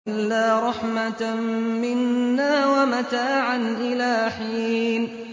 إِلَّا رَحْمَةً مِّنَّا وَمَتَاعًا إِلَىٰ حِينٍ